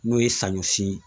N'o ye saɲɔ si